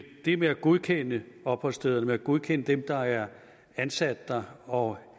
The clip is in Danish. det med at godkende opholdsstederne og godkende dem der er ansat der og